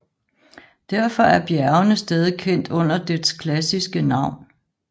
Derfor er bjergene stadig kendt under dets klassiske navn